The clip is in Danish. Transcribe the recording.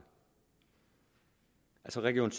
region